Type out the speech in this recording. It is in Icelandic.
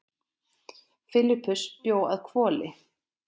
Filippus bjó að Hvoli.